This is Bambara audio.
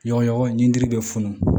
Ɲɔgɔnɲɔgɔn intiri bɛ funu